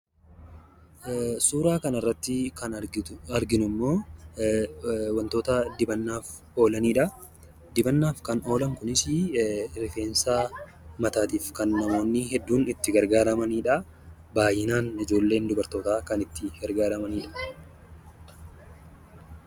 Suuraa kanarratt ksn argitu, arginu immoo waantota dibannaaf oolanidha. Dibannaaf kan oolan kun immoo kan rifeensaaf dibataaf namoonni itti gargaaramanidha. Baay'inaan ijoolleen dubartoota kan itti gargaaramanidha.